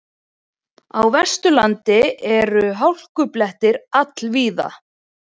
Á Vesturlandi eru hálkublettir all víða